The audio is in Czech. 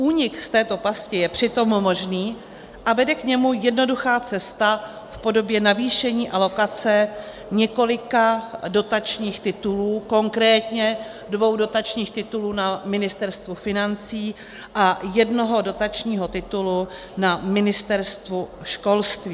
Únik z této pasti je přitom možný a vede k němu jednoduchá cesta v podobě navýšení alokace několika dotačních titulů, konkrétně dvou dotačních titulů na Ministerstvu financí a jednoho dotačního titulu na Ministerstvu školství.